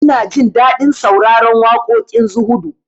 Ina jin daɗin sauraron waƙoƙin zuhudu